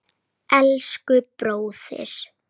Elsku bróðir!